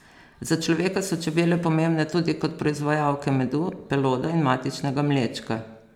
Za človeka so čebele pomembne tudi kot proizvajalke medu, peloda in matičnega mlečka.